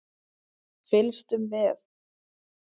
Fylgstu með!